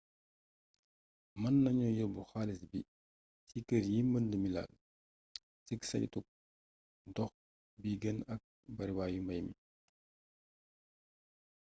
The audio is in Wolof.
mën nañu yobbu xaalis bi ci kër yi mbënd mi laal cig saytug dox bi gën ak bariwaayu mbay mi